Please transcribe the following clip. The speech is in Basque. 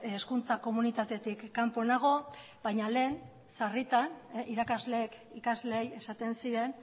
hezkuntza komunitatetik kanpo nago baina lehen sarritan irakasleek ikasleei esaten zien